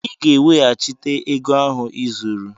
Ị ga-eweghachite ego ahụ i zuru!